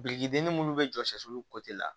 Biriki dennin munnu be jɔ la